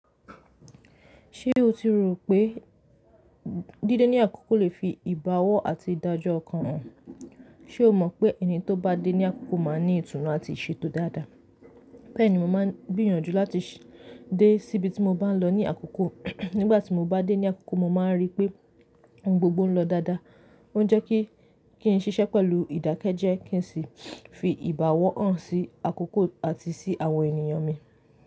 Ṣé o ti rò pé dídé ní àkókò lè fi ìbáwọ àti ìdájọ́ ọkàn hàn? Ṣe o mọ̀ pé ẹni tó bá dé ní àkókò máa ní ìtùnú àti ìṣètò dáadáa? Bẹ́ẹ̀ni, mo máa ń gbìyànjú láti dé síbi tí mo bá ń lọ ní àkókò. Nígbà tí mo bá dé ní àkókò, mo máa rí pé ohun gbogbo ń lọ dáadáa. Ó jẹ́ kí n ṣiṣẹ́ pẹ̀lú ìdákẹ́jẹ́ kí n sì fi ìbáwọ hàn sí àkókò àti sí àwọn ènìyàn mi.